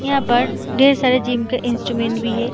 यहाँ पर ढेर सारे जिम के इंस्ट्रूमेंट भी है।